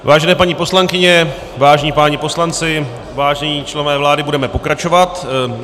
Vážené paní poslankyně, vážení páni poslanci, vážení členové vlády, budeme pokračovat.